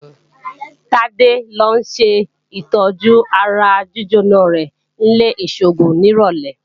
Tádé ó lọ ṣètọ́jú ara jíjóná rẹ̀ ní ilé-ìṣògùn nírọ̀lẹ́